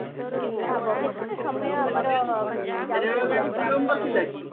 ଭାବ କେତେ ସମୟ ମାନେ ଯାଉଛି ବିଳମ୍ବରେ